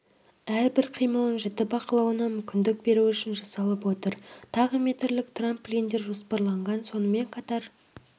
әрбір қимылын жіті бақылауына мүмкіндік беру үшін жасалып отыр тағы метрлік трамплиндер жоспарланған сонымен қатар